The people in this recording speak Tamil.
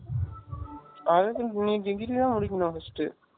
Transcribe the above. அதுக்கு நீ degree தான் முடிக்கனும் first